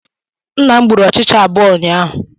Nna m gburu ọchịcha abụọ ụnyaahụ.